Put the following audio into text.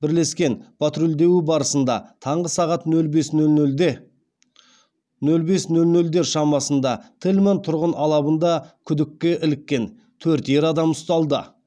бірлескен патрульдеуі барысында таңғы сағат нөл бес нөл нөлдер шамасында тельман тұрғын алабында күдікке іліккен төрт ер адам ұсталды